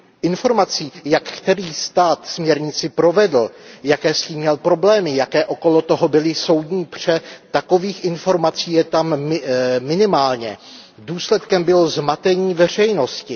Informací, jak který stát směrnici provedl, jaké s tím měl problémy, jaké kolem toho byly soudní pře, takových informací je tam minimálně. Důsledkem bylo zmatení veřejnosti.